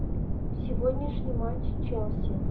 сегодняшний матч челси